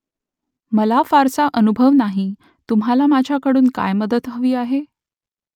मला फारसा अनुभव नाही तुम्हाला माझ्याकडून काय मदत हवी आहे ?